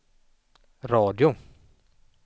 radio